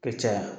Ka caya